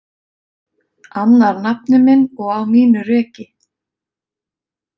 Annar nafni minn og á mínu reki.